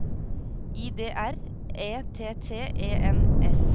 I D R E T T E N S